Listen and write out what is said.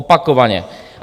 Opakovaně.